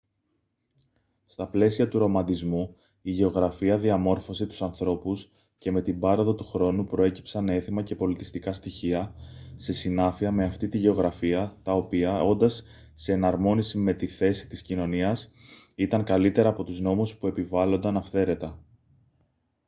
στα πλαίσια του ρομαντισμού η γεωγραφία διαμόρφωσε τους ανθρώπους και με την πάροδο του χρόνου προέκυψαν έθιμα και πολιτιστικά στοιχεία σε συνάφεια με αυτή τη γεωγραφία τα οποία όντας σε εναρμόνιση με τη θέση της κοινωνίας ήταν καλύτερα από τους νόμους που επιβάλλονταν αυθαίρετα